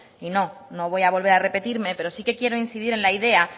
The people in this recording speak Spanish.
y no no voy a volver a repetirme pero sí que quiero incidir en la idea